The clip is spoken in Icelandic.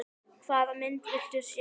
Hvaða mynd viltu sjá?